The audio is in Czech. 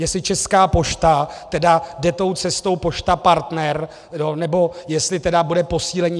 Jestli Česká pošta tedy jde tou cestou Pošta Partner, nebo jestli tedy bude posílení.